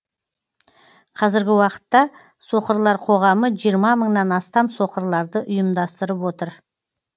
қазіргі уақытта соқырлар қоғамы жиырма мыңнан астам соқырларды ұйымдастырып отыр